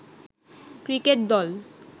Cricket দল।